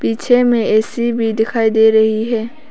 पीछे में ए_सी भी दिखाई दे रही है।